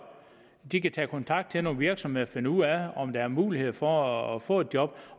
de kan tage kontakt til nogle virksomheder og finde ud af om der er mulighed for at få et job